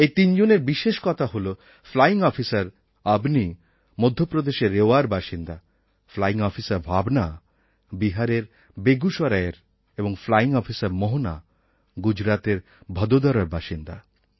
এই তিনজনের বিশেষ কথা হলো ফ্লাইং অফিসার অবনী মধ্যপ্রদেশের রেওয়ার বাসিন্দা ফ্লাইং অফিসার ভাবনা বিহারের বেগুসরায়ের এবং ফ্লাইং অফিসার মোহনা গুজরাতের ভদোদরার বাসিন্দা